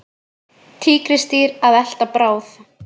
Tígrisdýr að elta bráð.